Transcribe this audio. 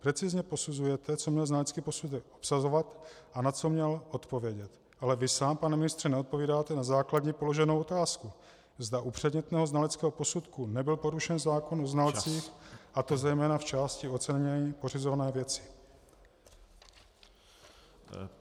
Precizně posuzujete, co měl znalecký posudek obsahovat a na co měl odpovědět, ale vy sám, pane ministře, neodpovídáte na základní položenou otázku, zda u předmětného znaleckého posudku nebyl porušen zákon o znalcích , a to zejména v části ocenění pořizované věci.